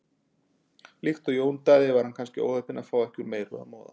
Líkt og Jón Daði var hann kannski óheppinn að fá ekki úr meiru að moða.